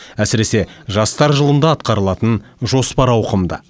әсіресе жастар жылында атқарылатын жоспар ауқымды